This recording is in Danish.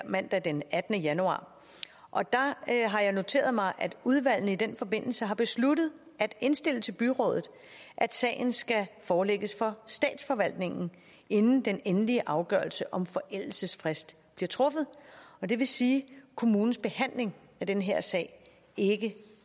mandag den attende januar og der har jeg noteret mig at udvalgene i den forbindelse har besluttet at indstille til byrådet at sagen skal forelægges for statsforvaltningen inden den endelige afgørelse om forældelsesfrist bliver truffet det vil sige at kommunens behandling af den her sag ikke